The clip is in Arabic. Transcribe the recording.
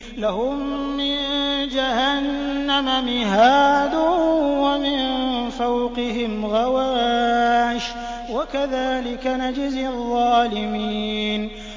لَهُم مِّن جَهَنَّمَ مِهَادٌ وَمِن فَوْقِهِمْ غَوَاشٍ ۚ وَكَذَٰلِكَ نَجْزِي الظَّالِمِينَ